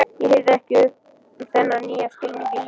Ég hirði ekki um þennan nýja skilning á lífinu.